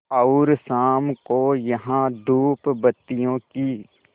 और शाम को यहाँ धूपबत्तियों की